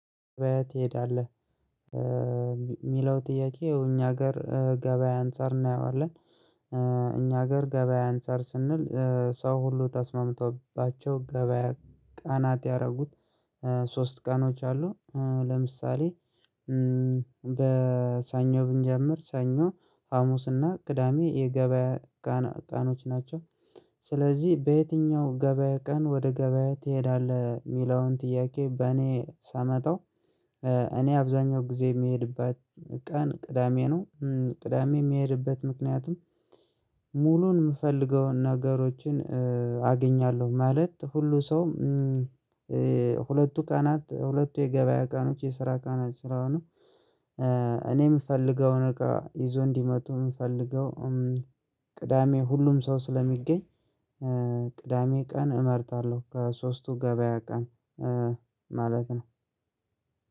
ገበያ ትሄዳለህ የሚለው ጥያቄ እኛ ሀገር ገበያ አንፃር እናየዋለን። እኛ ሀገር ገበያ አንፃር ስንል ሰው ሁሉ ተስማምተውባቸው ገበያ ቀናት ያደረጉት ሶስት ቀኖች አሉ። ለምሳሌ በሰኞ ብንጀምር ሰኞ ሀሙስና ቅዳሜ የገበያ ቀኖች ናቸው። ስለዚህ በየትኛው ገበያ ቀን ወደ ገበያ ትሄዳለህ የሚለውን ጥያቄ በእኔ ሳመጣው። እኔ አብዛኛው ጊዜ የምሄድበት ቀን ቅዳሜ ነው። ቅዳሜ የምሄድበት ምክንያቱም ሙሉን የምፈልገውን ነገሮችን አገኛለሁ። ማለት ሁሉ ሰውም ሁለቱ ቀናት ሁለቱ የገበያ ቀኖች የስራ ቀናት ስራ ነው። እኔ የምፈልገውን ነገር ይዞ እንዲመጡ የምፈልገው ቅዳሜ ሁሉም ሰው ስለሚገኝ ቅዳሜ ቀን እመርጣለሁ። ከሶስቱ ገበያ ቀን ማለት ነው።